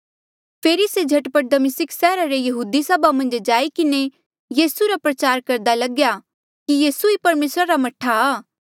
फेरी से झट पट दमिस्का सैहरा रे यहूदी सभा मन्झ जाई किन्हें यीसू रा प्रचार करदा लग्या कि यीसू ही परमेसरा रा मह्ठा आ